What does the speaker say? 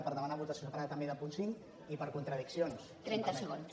per demanar votació se·parada també del punt cinc i per contradiccions si em permet